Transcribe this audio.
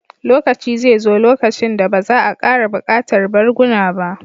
Lokaci zai zo lokacin da ba za a ƙara buƙatar barguna ba